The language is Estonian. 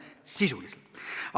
Sisuliselt!